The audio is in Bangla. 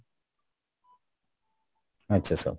আচ্ছা sir